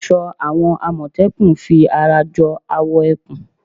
Aṣọ àwọn àmọ̀tẹ́kùn fi ara jọ awọ ẹkùn